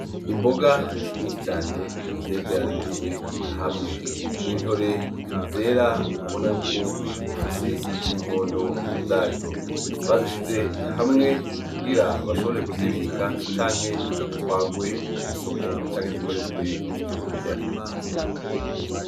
Imboga nyinshi cane zegeranyirijwe hamwe; n’Intore zera ubona yuko zigifise ninkondo zazo, bazishize hamwe kugira bashobore kuzibika canke zitwagwe kwisoko canke zikoteshwe nkivyo kurya.